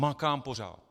Makám pořád.